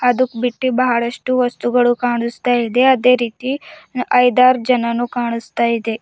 ಅದುಕ್ ಬಿಟ್ಟಿ ಬಹಳಷ್ಟು ವಸ್ತುಗಳು ಕಾಣುಸ್ತಾ ಇದೆ ಅದೇ ರೀತಿ ಐದಾರ್ ಜನನೂ ಕಾಣುಸ್ತಾ ಇದೆ.